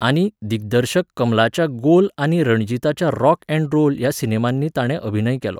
आनी, दिग्दर्शक कमलाच्या गोल आनी रणजीताच्या रॉक अँड रोल ह्या सिनेमांनी ताणें अभिनय केलो.